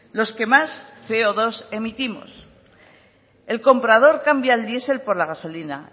los que más ce o dos emitimos el comprador cambia el diesel por la gasolina